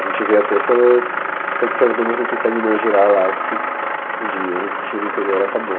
A gente vê até pelo... Tanto que as bandas não conseguem mais girar lá, porque o dinheiro que tinha no interior acabou.